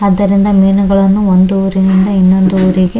ಆದ್ದರಿಂದ ಮೀನುಗಳನ್ನು ಒಂದು ಊರಿನಿಂದ ಇನ್ನೊಂದು ಊರಿಗೆ --